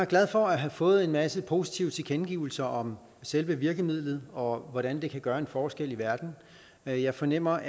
glad for at have fået en masse positive tilkendegivelser om selve virkemidlet og om hvordan det kan gøre en forskel i verden jeg jeg fornemmer